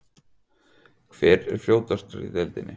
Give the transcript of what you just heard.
Hver er fljótastur í deildinni?